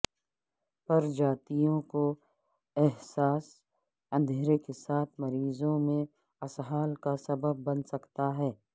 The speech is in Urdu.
پرجاتیوں کو حساس اندھیرے کے ساتھ مریضوں میں اسہال کا سبب بن سکتا ہے